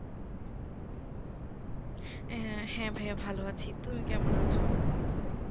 হ্যাঁ, হ্যাঁ ভাইয়া ভালো আছি, তুমি কেমন আছো? হ্যাঁ আলহামদুলিল্লাহ।